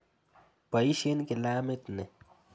Poisyen kilamit ni.